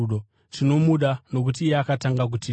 Tinomuda nokuti iye akatanga kutida.